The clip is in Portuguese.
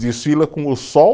Desfila com o sol